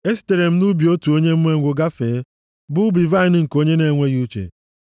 Esitere m nʼubi otu onye umengwụ gafee, bụ ubi vaịnị nke onye na-enweghị uche,